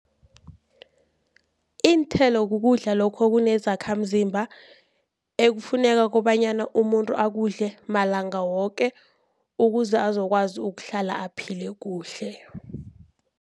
Iinthelo kukudla lokho okunezakhamzimba ekufuneka kobanyana umuntu akudle malanga woke, ukuze azokwazi ukuhlala aphile kuhle.